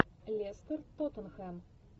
лестер тоттенхэм